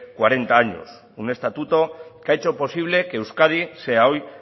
cuarenta años un estatuto que ha hecho posible que euskadi sea hoy